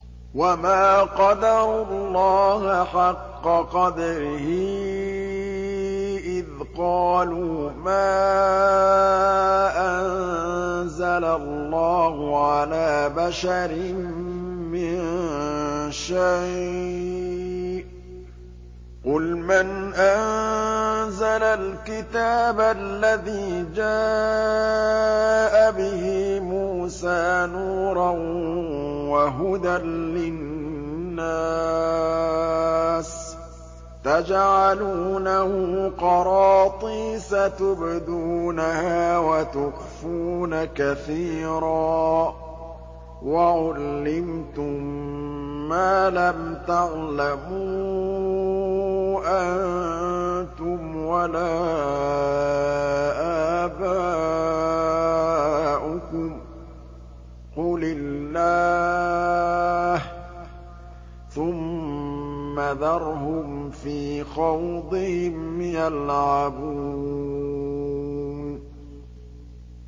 وَمَا قَدَرُوا اللَّهَ حَقَّ قَدْرِهِ إِذْ قَالُوا مَا أَنزَلَ اللَّهُ عَلَىٰ بَشَرٍ مِّن شَيْءٍ ۗ قُلْ مَنْ أَنزَلَ الْكِتَابَ الَّذِي جَاءَ بِهِ مُوسَىٰ نُورًا وَهُدًى لِّلنَّاسِ ۖ تَجْعَلُونَهُ قَرَاطِيسَ تُبْدُونَهَا وَتُخْفُونَ كَثِيرًا ۖ وَعُلِّمْتُم مَّا لَمْ تَعْلَمُوا أَنتُمْ وَلَا آبَاؤُكُمْ ۖ قُلِ اللَّهُ ۖ ثُمَّ ذَرْهُمْ فِي خَوْضِهِمْ يَلْعَبُونَ